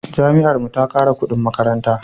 Jami'ar mu ta kara kudin makaranta